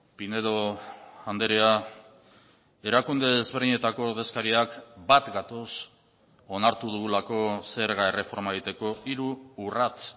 pinedo andrea erakunde ezberdinetako ordezkariak bat gatoz onartu dugulako zerga erreforma egiteko hiru urrats